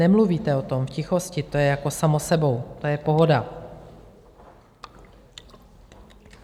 Nemluvíte o tom, v tichosti, to je jako samo sebou, to je pohoda.